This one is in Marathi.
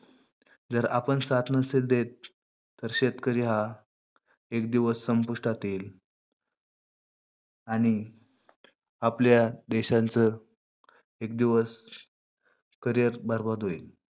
जर आपण साथ नसेल देत, तर शेतकरी हा एक दिवस संपुष्टात येईल. आणि आपल्या देशाच एक दिवस carrier बरबाद होईल.